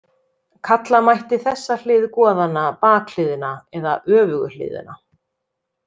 Kalla mætti þessa hlið goðanna bakhliðina eða öfugu hliðina.